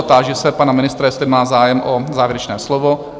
A táži se pana ministra, jestli má zájem o závěrečné slovo?